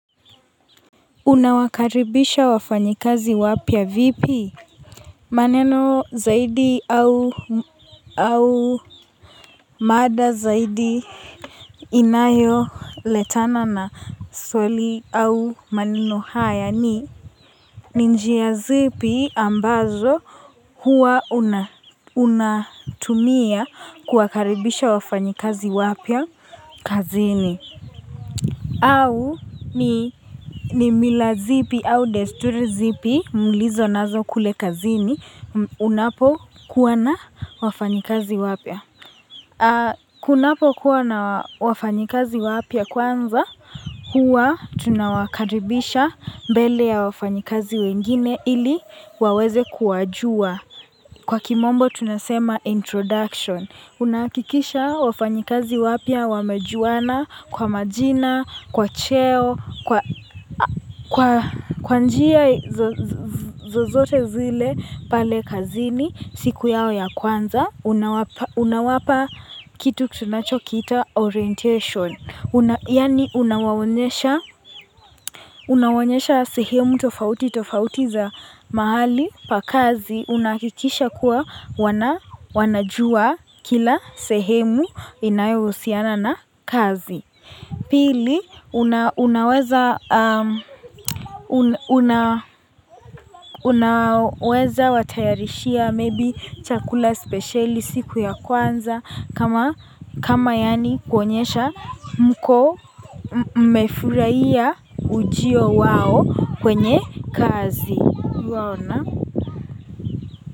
Unawakaribisha wafanyikazi wapya vipi maneno zaidi au au mada zaidi inayo letana na swali au maneno haya ni ni njia zipi ambazo huwa unatumia kuwakaribisha wafanyikazi wapya kazini au ni ni mila zipi au desturi zipi, mulizo nazo kule kazini, unapokuwa na wafanyikazi wapya. Kunapokuwa na wafanyikazi wapya kwanza, huwa tunawakaribisha mbele ya wafanyikazi wengine ili waweze kuwajua. Kwa kimombo tunasema introduction. Unahakikisha wafanyikazi wapya wamejuwana kwa majina, kwa cheo, kwa njia zozote zile pale kazini siku yao ya kwanza. Unawapa kitu tunacho kiita orientation Yani unawaonyesha unawaonyesha sehemu tofauti tofauti za mahali pakazi Unakikisha kuwa wanajua kila sehemu inayohusiana na kazi Pili unaweza unaweza watayarishia maybe chakula spesheli siku ya kwanza kama kama yani kuwaonyesha mko mmefurahia ujio wao kwenye kazi.